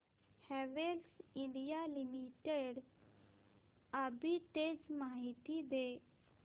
Havells India limited arbitrage माहिती दे